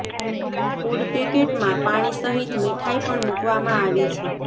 food પેકેટમાં પાણી સહીત મીઠાઈ પણ મુકવામાં આવી છે